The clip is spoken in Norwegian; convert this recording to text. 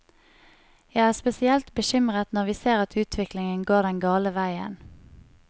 Jeg er spesielt bekymret når vi ser at utviklingen går den gale veien.